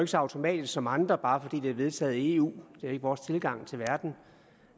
så automatisk som andre bare fordi det er vedtaget i eu det er ikke vores tilgang til verden